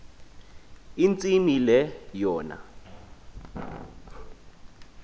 intsimi le yona